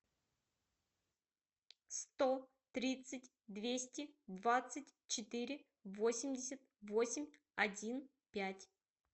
сто тридцать двести двадцать четыре восемьдесят восемь один пять